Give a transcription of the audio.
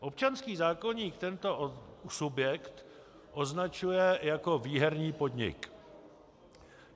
Občanský zákoník tento subjekt označuje jako výherní podnik.